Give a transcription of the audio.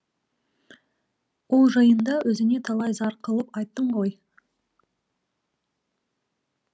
ол жайында өзіңе талай зар қылып айттым ғой